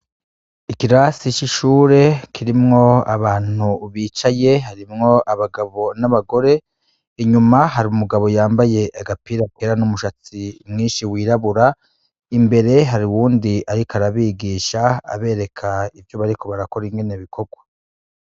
Ikirasi icishure kirimwo abantu ubicaye harimwo abagabo n'abagore inyuma hari umugabo yambaye agapira akera n'umushatsi mwinshi wirabura imbere hari uwundi, ariko arabigisha abereka ivyo bariko barakora ingene bikorwa.